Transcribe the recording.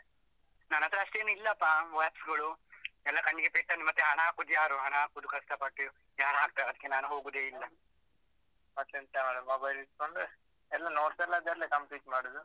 ನನ್ನತ್ರ ಅಷ್ಟೇನಿಲ್ಲಪ್ಪ apps ಗಳು. ಎಲ್ಲ ಕಣ್ಣಿಗೆ ಪೆಟ್ಟಾದ್ರೆ ಮತ್ತೆ ಹಣ ಹಾಕುದು ಯಾರು? ಹಣ ಹಾಕುದು ಕಷ್ಟ ಪಟ್ಟು, ಯಾರಾಕ್ತಾರೆ ಅದ್ಕೆ ನಾನು ಹೋಗುದೇ ಇಲ್ಲ. ಮತ್ತೆಂತ ಮಾಡುದು mobile ಇಡ್ಕೊಂಡು ಎಲ್ಲ notes ಎಲ್ಲ ಅದ್ರಲ್ಲೇ complete ಮಾಡುದು.